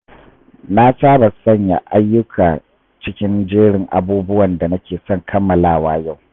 Na saba sanya ayyuka cikin jerin abubuwan da nake son kammalawa yau.